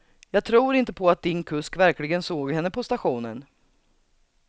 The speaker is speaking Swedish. Jag tror inte på att din kusk verkligen såg henne på stationen.